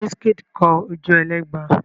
Wizkid kọ Ojuelegba?